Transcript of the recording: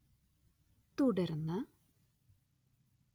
, തുടർന്ന്